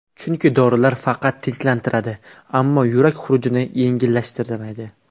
Chunki dorilar faqat tinchlantiradi, ammo yurak xurujlarini yengillashtirmaydi.